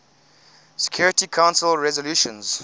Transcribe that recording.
security council resolutions